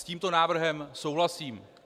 S tímto návrhem souhlasím.